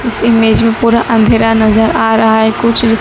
इस इमेज मे पूरा अंधेरा नजर आ रहा है कुछ--